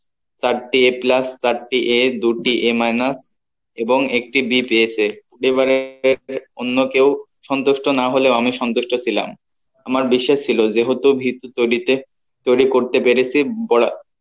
চারটি a plus চারটি a দুটি a minus এবং একটি b পেয়েছে এবারে অন্য কেও সন্তুষ্ট না হলেও আমি সন্তুষ্ট ছিলাম আমার বিশ্বাস ছিল যে হতে ভীত তো তৈরিতে তৈরি করতে পেরেছি